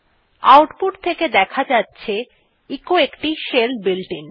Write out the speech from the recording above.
output থেকে দেখা যাচ্ছে এচো একটি শেল বুলেটিন